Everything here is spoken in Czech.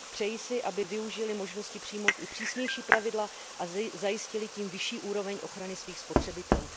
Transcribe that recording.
Přeji si, aby využily možnosti přijmout i přísnější pravidla a zajistily tím vyšší úroveň ochrany svých spotřebitelů.